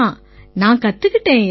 நான் கத்துக்கிட்டேன்யா